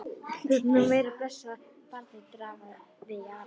Þú ert nú meira blessað barnið, drafaði í Ara.